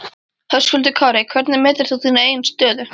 Höskuldur Kári: Hvernig metur þú þína eigin stöðu?